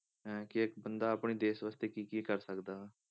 ਅਹ ਕਿ ਇੱਕ ਬੰਦਾ ਆਪਣੇ ਦੇਸ ਵਾਸਤੇ ਕੀ ਕੀ ਕਰ ਸਕਦਾ ਵਾ।